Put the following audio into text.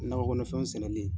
Nakɔkɔnɔ fɛnw sɛnɛli.